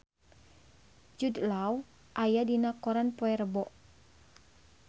Jude Law aya dina koran poe Rebo